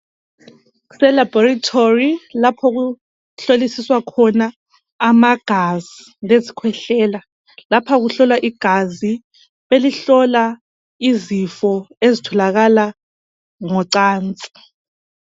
Kuselaboratory lapho okuhlolisiswa khona amagazi lezikhwehlela lapha kuhlolwa igazi belihlola izifo ezitholakala ngocansi.